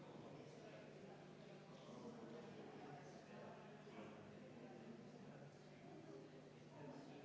Palun võtta seisukoht ja hääletada!